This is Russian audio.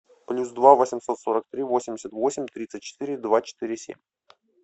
плюс два восемьсот сорок три восемьдесят восемь тридцать четыре два четыре семь